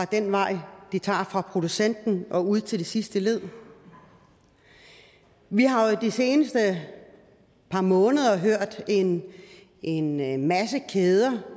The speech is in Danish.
den vej de tager fra producenten og ud til det sidste led vi har jo i de seneste par måneder hørt en en masse